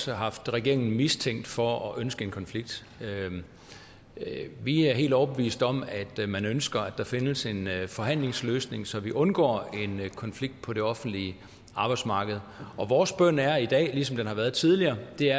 har haft regeringen mistænkt for at ønske en konflikt vi er helt overbevist om at man ønsker at der findes en forhandlingsløsning så vi undgår en konflikt på det offentlige arbejdsmarked og vores bøn er i dag ligesom den har været tidligere